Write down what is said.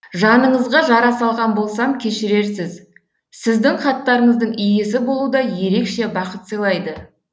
жаныңызға жара салған болсам кешірерсіз сіздің хаттарыңыздың иесі болу да ерекше бақыт сыйлайды